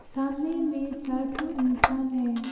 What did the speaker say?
सामने में चार ठो इंसान हैं।